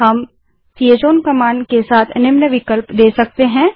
हम chown command के साथ निम्न विकल्प दे सकते हैं